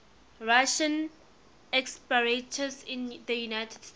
russian expatriates in the united states